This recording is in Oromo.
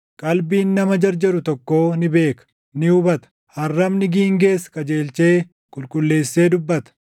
Qalbiin nama jarjaru tokkoo ni beeka; ni hubata; arrabni giingees qajeelchee qulqulleessee dubbata.